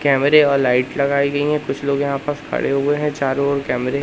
कैमरे वाला लाइट लगाई गई हैं कुछ लोग यहां बस खड़े हुए हैं चारों ओर कैमरे हैं।